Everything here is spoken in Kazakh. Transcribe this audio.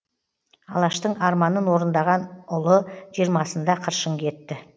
алаштың арманын орындаған ұлы жиырмасында қыршын кетті